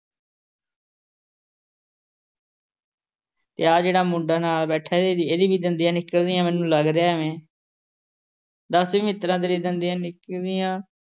ਅਤੇ ਆਹ ਜਿਹੜਾ ਮੁੰਡਾ ਨਾਲ ਬੈਠਾ ਇਹਦੇ ਇਹਦੇ ਵੀ ਦੰਦੀਆਂ ਨਿਕਲਦੀਆਂ ਮੈਨੂੰ ਲੱਗਦਾ ਐਵੇਂ ਦੱਸ ਵੇ ਮਿੱਤਰਾ ਤੇਰੀਆਂ ਦੰਦੀਆ ਨਿਕਲਦੀਆਂ